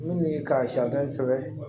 N'u ye karitɔn sɛbɛn